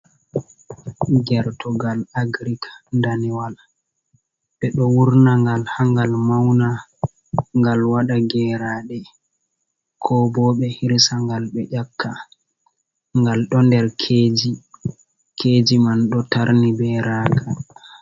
Gertogal agirik danewal, ɓe ɗo wurna gal ha ngal mauna ngal waɗa geraɗe, ko bo ɓe hirsangal, be ƴaka, ngal ɗo nder keji man, ɗo tarni be raga.